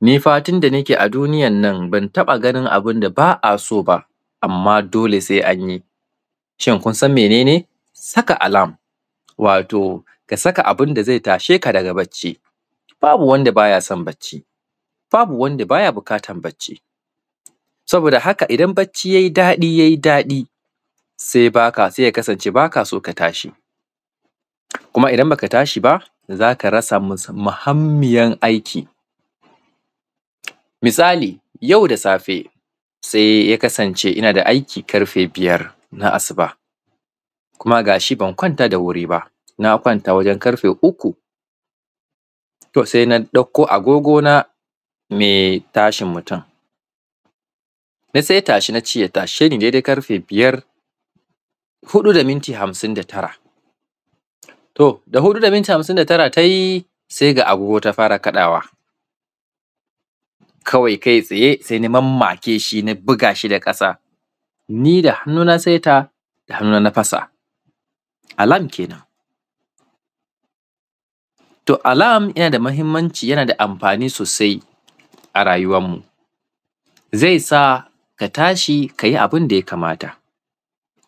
Ni fatun da nake a duniyan nan, ban taƃa ganin abin da ba a so ba, amma dole se an yi. Shin, kun san mene ne? Saka alam, wato ka saka abin da ze tashe ka daga bacci. Babu wanda ba ya son bacci, babu wand aba ya bukatan bacci. Saboda haka, idan bacci yai daɗi, yai daɗi, se baka; se ya kasance ba ka so ka tashi, kuma idan ba ka tashi ba, za ka rasa mus; muhammiyan aiki. Misali, yau da safe, se ya kasance ina da aiki karfe biyar, na asuba, kuma ga shi ban kwanta da wuri ba, na kwanta wajen karfe uku. To, se na ɗakko agogona, me tashin mutun, na seta shi, na ce ya tashe ni dedai karfe biyar, huɗu da minti hamsin da tara. To, da huɗu da minti hamsin da tara ta yi, se ga agogo ta fara kaɗawa, kawai kaitsaye, se na mammake shin a biga shi da ƙasa. Ni da hannuna na seta, da hannuna na fasa, alam kenan. To, alam, yana da mahimmanci yana da amfani sosai a rayuwanmu. Zai sa, ka tashi ka yi abin da ya kamata,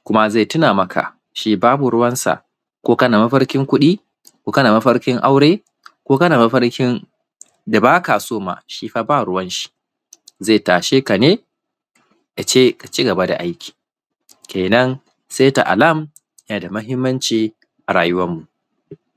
kuma ze tina maka, shi babu ruwansa, ko kana mafarkin kuɗi ko kana mafarkin aure, ko kana mafarkin da ba ka so ma, shi fa ba ruwanshi. Ze tashe ka ne, ya ce, ka ci gaba da aiki, kenan, seta alam, yana da mahimmancia a rayuwanmu.